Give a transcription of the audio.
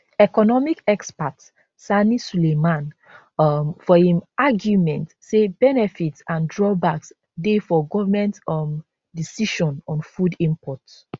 economic expert sani sulaiman um for im arguement say benefits and drawbacks dey for goment um decision on food import